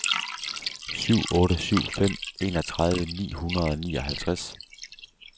syv otte syv fem enogtredive ni hundrede og nioghalvtreds